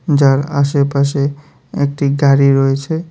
যার আশেপাশে একটি গাড়ি রয়েছে।